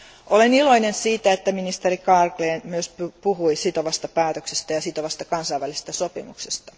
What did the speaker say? Olen iloinen siitä, että ministeri Carlgren myös puhui sitovasta päätöksestä ja sitovasta kansainvälisestä sopimuksesta.